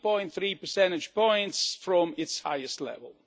3.3 percentage points from its highest level.